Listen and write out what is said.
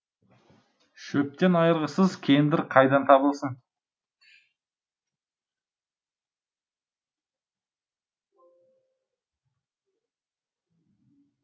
шөптен айырғысыз кендір қайдан табылсын